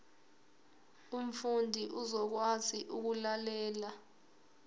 umfundi uzokwazi ukulalela